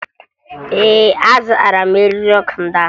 Ee, azụtara m eriri ọkụ ndị ahụ